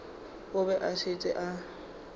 o be a šetše a